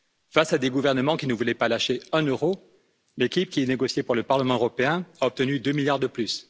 Face à des gouvernements qui ne voulaient pas lâcher un euro, l'équipe qui a négocié pour le Parlement européen a obtenu 2 milliards de plus.